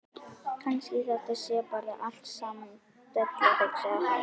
Kannski þetta sé bara allt saman della, hugsaði hann.